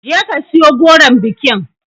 Je ka siyo goron bikin